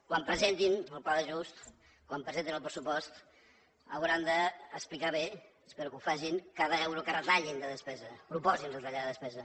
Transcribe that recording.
quan presentin el pla d’ajust quan presentin el pressupost hauran d’explicar bé espero que ho facin cada euro que retallin de despesa que proposin de retallada de despesa